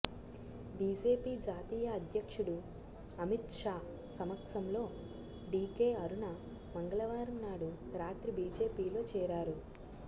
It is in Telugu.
బీజేపీ జాతీయ అధ్యక్షుడు అమిత్ షా సమక్షంలో డీకే అరుణ మంగళవారం నాడు రాత్రి బీజేపీలో చేరారు